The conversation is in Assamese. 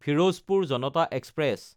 ফিৰোজপুৰ জনতা এক্সপ্ৰেছ